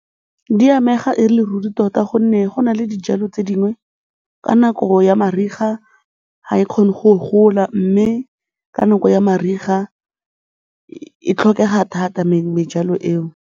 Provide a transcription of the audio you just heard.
Di amega e le ruri tota gonne go na le dijalo tse dingwe ka nako ya mariga ga e kgone go gola mme ka nako ya mariga e tlhokega thata mejalo eo.